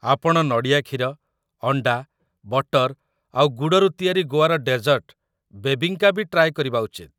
ଆପଣ ନଡ଼ିଆ କ୍ଷୀର, ଅଣ୍ଡା, ବଟର ଆଉ ଗୁଡ଼ରୁ ତିଆରି ଗୋଆର ଡେଜର୍ଟ 'ବେବିଙ୍କା' ବି ଟ୍ରାଏ କରିବା ଉଚିତ ।